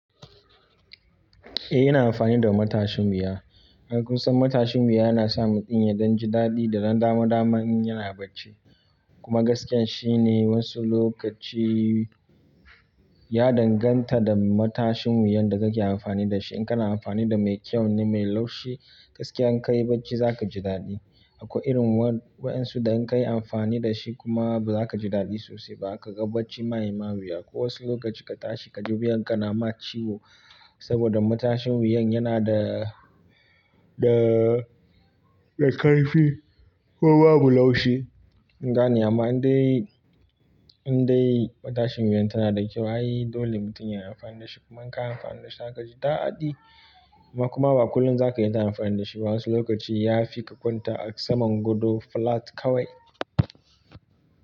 Eh ina amfani da matashin wuya. An kusa matashin wuya yana sa mutum ya dan ji daɗi da dan dama dama in yana bacci. Kuma gaskiya shine wasu lokaci ya danganta da matashin wuyan da kake amfani da shi. In kana amfani da mai kyau ne, mai laushi gaskiya in ka yi bacci za ka ji daɗi. Akwai irin waɗansu da in ka yi amfani da shi kuma ba za ka ji daɗi sosai ba. A ka ga bacci maima wuya. Ko wasu lokaci ka tashi ka ji wuyanka na mat ciwo. Saboda matashin wuyan yana da, da, da ƙarfi ko babu laushi. Gani amma in dai, in dai matashin wuyan tana da kyau, ha yi dole mutum ya yi amfani da shi. Kuma in ka yi amfani da shi za ka ji daɗi. Kuma ba kullum za ka iya taya amfani da shi ba. Wasu lokaci ya fi ka kwanta a saman godo flat kawai.